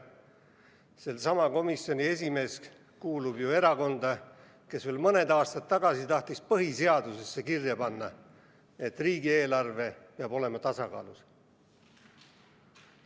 Seesama komisjoni esimees kuulub ju erakonda, kes veel mõni aasta tagasi tahtis põhiseadusesse kirja panna, et riigieelarve peab olema tasakaalus.